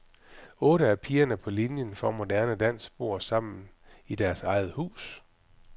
Otte af pigerne på linien for moderne dans bor sammen i deres eget hus.